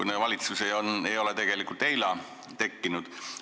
Meie valitsus ei ole tegelikult eile tekkinud.